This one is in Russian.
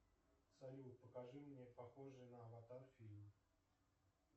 салют покажи мне похожие на аватар фильмы